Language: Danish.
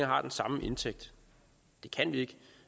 har den samme indtægt det kan vi